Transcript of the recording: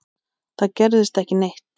Það gerðist ekki neitt.